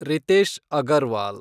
Ritesh Agarwal